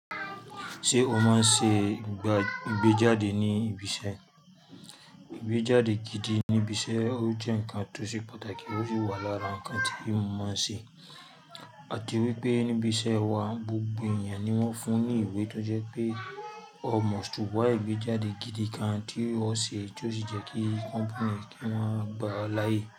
Ṣé o máa n ṣe ìgbéjáde ní ibiṣẹ́? Ìgbéjáde gidi ní ibiṣẹ́, ó jẹ́ ǹkan tó ṣe pàtàkì, ó sì wà lára ǹkan tí mo máa ń ṣe. A ti wípé ní ibiṣẹ́ wa, gbogbo èèyàn ni wọ́n fún ní ìwé tó jẹ́ pé ó mọ̀, ṣúgbọ́n igbéjáde gidi gán tí ó ṣe tí ó sì jẹ́ kí company ki wọn gbà ọ láàyè.